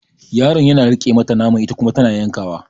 Yaron yana riƙe mata naman ita kuma tana yanka wa